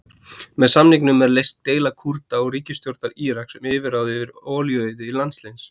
Með samningnum er leyst deila Kúrda og ríkisstjórnar Íraks um yfirráð yfir olíuauði landsins.